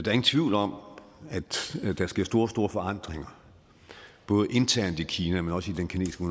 er ingen tvivl om at der sker store store forandringer både internt i kina men også i den kinesiske